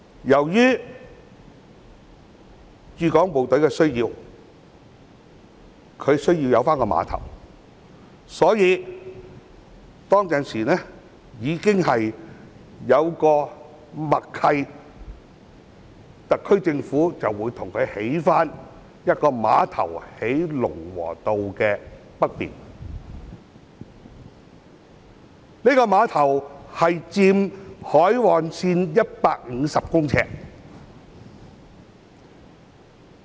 由於駐港部隊需要有碼頭，所以當時已有默契，特區政府會在龍和道北面為駐港部隊重建一個碼頭，佔海岸線150米。